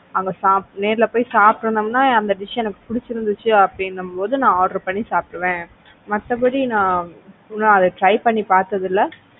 அங்க நேர்ல போய் சாப்பிட்டுட்டு இருந்தோம்னா அந்த dish எனக்கு புடிச்சிருந்துச்சு அப்படின்னும் போது நான் order பண்ணி சாப்பிடுவேன் மத்தபடி நான் இன்னும் அதை try பண்ணி பார்த்தது இல்ல.